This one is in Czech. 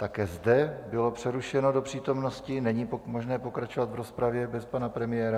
Také zde bylo přerušeno do přítomnosti, není možné pokračovat v rozpravě bez pana premiéra.